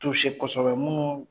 kosɛbɛ minnu